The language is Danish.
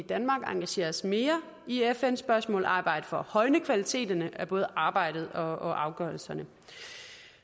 danmark engagere os mere i fn spørgsmål og arbejde for at højne kvaliteten af både arbejdet og afgørelserne